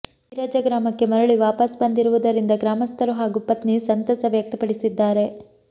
ಈರಜ್ಜ ಗ್ರಾಮಕ್ಕೆ ಮರಳಿ ವಾಪಸ್ ಬಂದಿರುವುದರಿಂದ ಗ್ರಾಮಸ್ಥರು ಹಾಗೂ ಪತ್ನಿ ಸಂತಸ ವ್ಯಕ್ತಪಡಿಸಿದ್ದಾರೆ